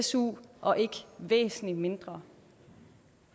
su og ikke væsentlig mindre